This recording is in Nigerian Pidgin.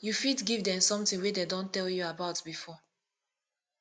you fit give them something wey dem don tell you about before